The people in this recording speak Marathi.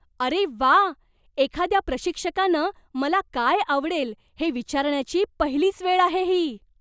अरे व्वा! एखाद्या प्रशिक्षकानं मला काय आवडेल हे विचारण्याची पहिलीच वेळ आहे ही.